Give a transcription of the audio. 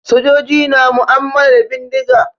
Sojoji na mu'ammala da bindiga.